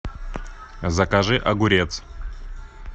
закажи огурец